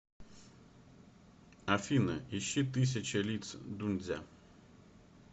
афина ищи тысяча лиц дуньцзя